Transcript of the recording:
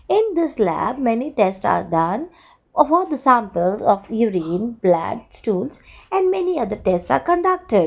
in this lab many test are done above the samples of urine blood stools and many other tests are conducted.